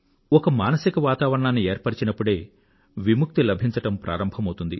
ఒక మానసిక వాతావరణాన్ని ఏర్పరచినప్పుడే విముక్తి లభించడం ప్రారంభమౌతుంది